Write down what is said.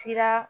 Sira